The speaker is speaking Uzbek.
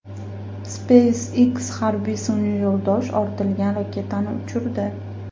SpaceX harbiy sun’iy yo‘ldosh ortilgan raketani uchirdi.